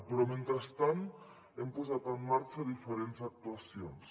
però mentrestant hem posat en marxa diferents actuacions